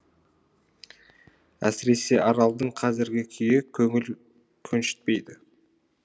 әсіресе аралдың қазіргі күйі көңіл көншітпейді